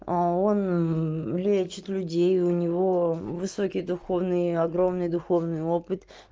а он лечит людей у него высокий духовный огромный духовный опыт